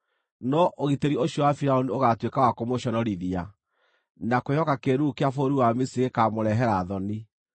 No ũgitĩri ũcio wa Firaũni ũgaatuĩka wa kũmũconorithia, na kwĩhoka kĩĩruru kĩa bũrũri wa Misiri gũkaamũrehera thoni.